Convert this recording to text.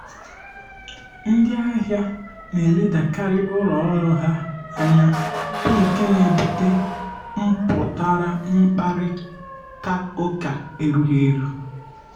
ndị ahịa na-eledakarị uru ọrụ ha anya bụ nke na-ebute mpụtara mkparịta ụka erughi eru